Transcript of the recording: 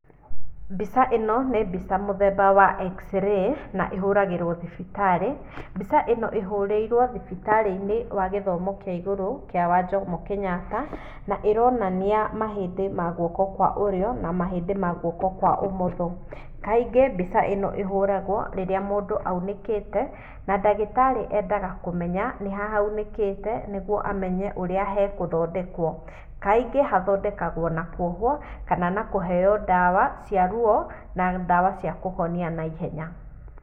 Mbica ĩno nĩ mbica mũthemba wa x-ray, na ĩhũragĩrwo thibitarĩ. Mbica ĩno ihũrĩirwo thibitarĩ-inĩ wa gĩthomo kĩa igũrũ kĩa wa Jomo Kenyatta na ĩronania mahĩndĩ ma guoko kwa ũrĩo na mahĩndĩ ma guoko kwa ũmotho. Kaingĩ mbica ĩno ĩhũragwo rĩrĩa mũndũ aunĩkĩte, na ndagĩtarĩ endaga kũmenya nĩ ha haunĩkĩte nĩguo amenye ũrĩa hekũthondekwo. Kaingĩ hathondekagwo na kuohwo, kana na kũheo ndawa cia ruo na ndawa cia kũhonia na ihenya.